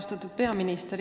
Austatud peaminister!